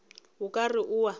o ka re o a